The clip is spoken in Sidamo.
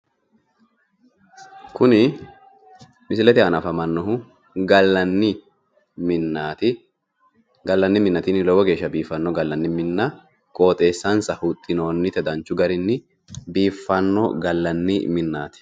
Kuni misilete aana afamanohu gallanni minnaati gallanni minna tini lowo geeshsha biiffanno galanni mina qooxeessansa huxxinoonnite danchu garinni biiffanno gallanni minnaati.